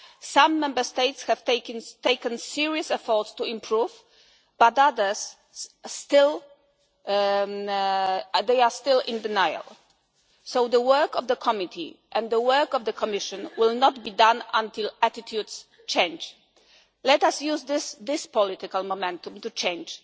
appropriately. Some Member States have taken serious efforts to improve but others are still in denial. The work of the committee and the work of the Commission will not be done until attitudes change. Let us use this this political momentum